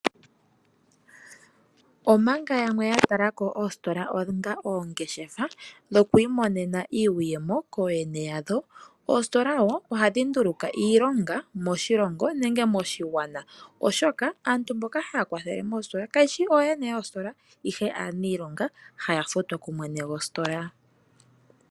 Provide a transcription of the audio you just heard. Omanga yamwe ya talako oositola onga oongeshefa dhoku imonena iiyemo kooyene yadho, oositola woo ohadhi nduluka iilonga moshilongo nenge moshigwana, oshoka aantu mboka haya kwathele moositola kayeshi ooyene yoositola, ihe aaniilonga haya futwa kumwene gwositola.